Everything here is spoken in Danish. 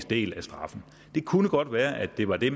del af straffen det kunne godt være det var det